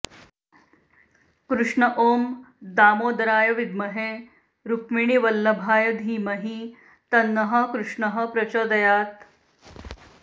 कृष्ण ॐ दामोदराय विद्महे रुक्मिणीवल्लभाय धीमहि तन्नः कृष्णः प्रचोदयात्